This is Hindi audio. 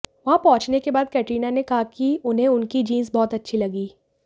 वहां पहुंचने के बाद कटरीना ने कहा कि उन्हें उनकी जींस बहुत अच्छी लगी